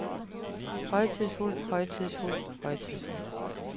højtidsfuld højtidsfuld højtidsfuld